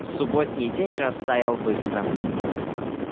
субботний день растаял быстро